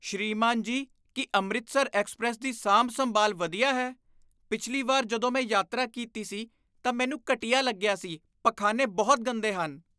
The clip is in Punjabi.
ਸ੍ਰੀਮਾਨ ਜੀ, ਕੀ ਅੰਮ੍ਰਿਤਸਰ ਐਕਸਪ੍ਰੈੱਸ ਦੀ ਸਾਂਭ ਸੰਭਾਲ ਵਧੀਆ ਹੈ? ਪਿਛਲੀ ਵਾਰ ਜਦੋਂ ਮੈਂ ਯਾਤਰਾ ਕੀਤੀ ਸੀ ਤਾਂ ਮੈਨੂੰ ਘਟੀਆ ਲੱਗਿਆ ਸੀ ਪਖਾਨੇ ਬਹੁਤ ਗੰਦੇ ਹਨ